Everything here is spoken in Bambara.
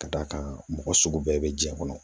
Ka d'a kan mɔgɔ sugu bɛɛ bɛ jiɲɛ kɔnɔ